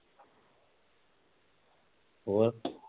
ਹੋਰ